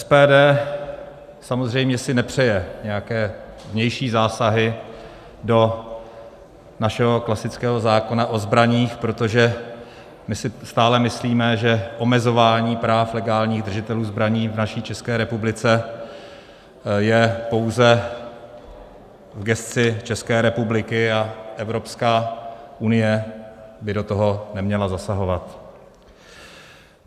SPD samozřejmě si nepřeje nějaké vnější zásahy do našeho klasického zákona o zbraních, protože my si stále myslíme, že omezování práv legálních držitelů zbraní v naší České republice je pouze v gesci České republiky a Evropská unie by do toho neměla zasahovat.